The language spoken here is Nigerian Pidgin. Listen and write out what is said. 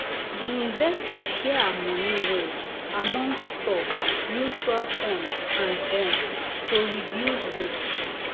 the investor share her money well among stock mutual fund and bond to reduce risk.